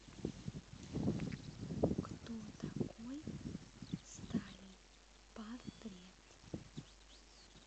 кто такой сталин портрет